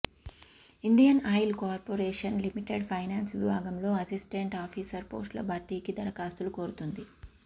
Indian Oil Corporation Limited finance విభాగంలో assistant officer పోస్టుల భర్తీకి దరఖాస్తులు కోరుతోంది